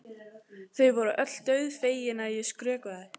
Þau voru öll dauðfegin að ég skrökvaði.